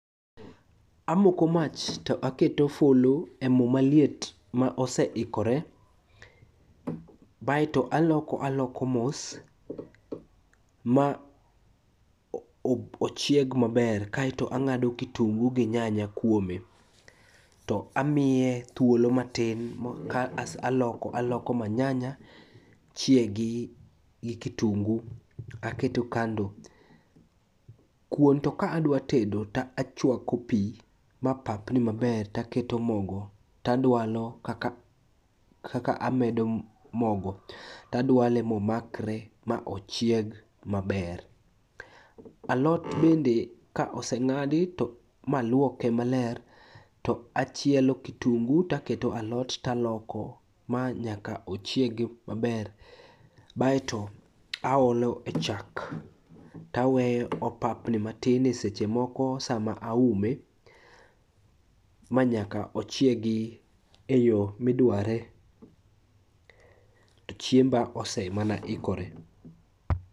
Amoko mach to aketo fulu e mo maliet ma oseikore, baeto aloko aloko mos ma ochieg maber kaeto ang'ado kitungu gi nyanya kuome to amiye thuolo matin ka aloko aloko ma nyanya chiegi gi kitungu aketo kando. Kuon to ka adwa tedo to achwako pi ma papni maber taketo mogo tadwalo kaka amedo mogo tadwale momakre ma ochieg maber. Alot bende ka oseng'adi maluoke maler to achielo kitungu taketo alot taloko ma nyaka ochiegi maber baeto aolo e chak taweyo opapni matin e seche moko sama aume manyaka ochiegi e yo midware to chiemba osemana ikore.